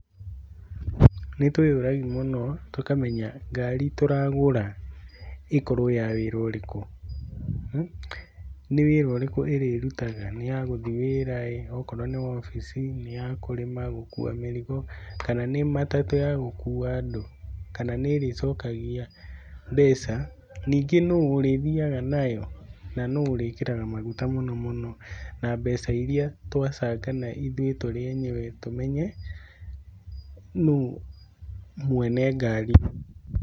Nĩtũĩyũragi mũno tũkamenya ngari tũragũra ĩkorwo ya wĩra ũrĩkũ. Nĩ wĩra ũrĩkũ ĩrĩrutaga? Nĩyagũthiĩ wĩra ĩ,okorwo nĩ wobici, nĩ yakũrĩma, gũkua mĩrigo kana nĩ matatũ yagũkua andũ? Kana nĩĩrĩcokagia mbeca. Ningĩ nũũ ũrithiaga nayo na nũũ ũrĩkĩraga maguta mũno mũno? Na mbeca iria twabangana ithuĩ tũrĩ enyewe tũmenye nũũ mwene ngari.